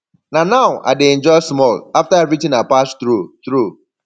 na now i dey enjoy small after everything i pass through through